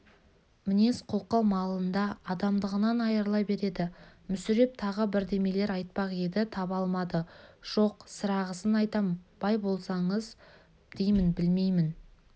мінез-құлқы малында адамдығынан айрыла береді мүсіреп тағы бірдемелер айтпақ еді таба алмады жоқ сірағысын айтам бай болсаңыз деймін білмеймін